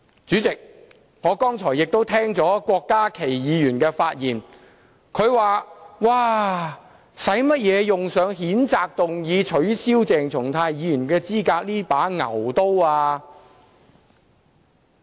主席，我剛才亦聆聽了郭家麒議員的發言，他說："為甚麼要用上透過譴責議案取消鄭松泰議員的資格這把牛刀？